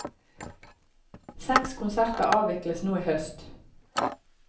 Seks konserter avvikles nå i høst.